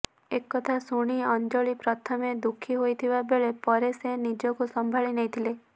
ଏ କଥା ଶୁଣି ଅଞ୍ଜଳି ପ୍ରଥମେ ଦୁଃଖୀ ହୋଇଥିବା ବେଳେ ପରେ ସେ ନିଜକୁ ସମ୍ଭାଳି ନେଇଥିଲେ